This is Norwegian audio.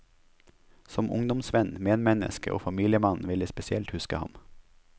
Som ungdomsvenn, medmenneske og familiemann vil jeg spesielt huske ham.